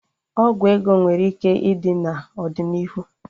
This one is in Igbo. Ọgwụ ego nwere ike ịdi n'ọdịnihu